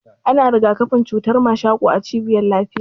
Ana rigakafin cutar mashako a cibiyar lafiya.